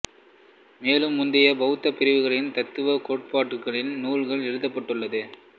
மேலும் முந்தைய பௌத்தப் பிரிவுகளின் தத்துவக் கோட்பாடுகளின் நூல்கள் எழுதப்பட்டது